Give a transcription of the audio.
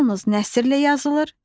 Yalnız nəsrlə yazılır.